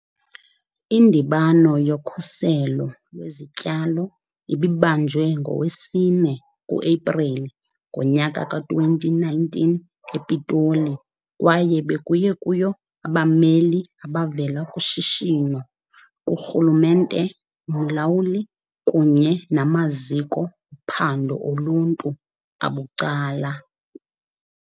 Indibano yoKhuselo lweziTyalo ibibanjwe ngowesi-4 kuEpreli ngo-2019 ePitoli kwaye bekuye kuyo abameli abavela kushishino, kurhulumente, umlawuli, kunye namaziko phando oluntu abucala.